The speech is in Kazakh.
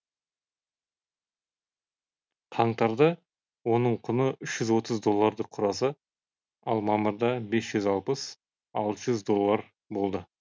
қаңтарда оның құны үш жүз отыз долларды құраса ал мамырда бес жүз елу алты жүз доллар болды